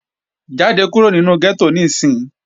Jáde kúrò nínu gẹ́tò níìsín!